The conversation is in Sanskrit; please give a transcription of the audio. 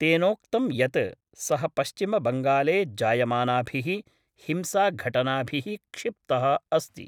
तेनोक्तं यत् सः पश्चिमबंगाले जायमानाभिः हिंसाघटनाभिः क्षिप्तः अस्ति।